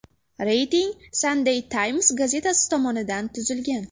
Reyting Sunday Times gazetasi tomonidan tuzilgan .